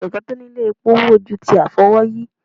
kẹkẹ tí o ní ilé epó wúwo ju ti afi-ówòyí